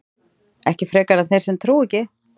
ekki frekar en þeir sem trúa ekki